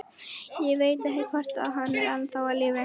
Ég veit ekki, hvort hann er ennþá á lífi.